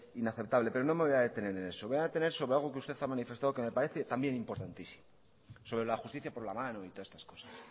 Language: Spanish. inaceptable pero no me voy a detener en eso me voy a detener sobre algo que usted ha manifestado que me parece también importantísimo sobre la justicia por la mano y todas estas cosas